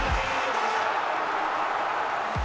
já